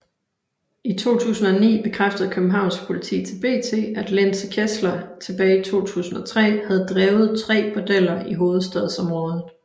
I 2009 bekræftede Københavns Politi til BT at Linse Kessler tilbage i 2003 havde drevet tre bordeller i Hovedstadsområdet